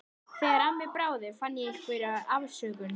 Þegar af mér bráði fann ég einhverja afsökun.